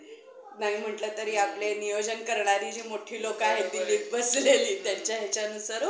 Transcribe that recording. नाही म्हणले तरी आपले नियोजन करणारी जी लोकं आहेत ती त्यांच्यानुसार